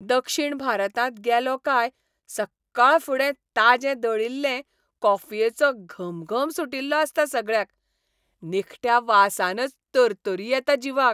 दक्षीण भारतांत गेलों काय सक्काळफुडें ताजे दळिल्ले कॉफयेचो घमघम सुटिल्लो आसता सगळ्याक. निखट्या वासानच तरतरी येता जिवाक.